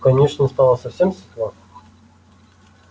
в конюшне стало совсем светло